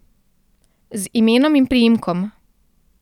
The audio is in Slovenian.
Z imenom in priimkom.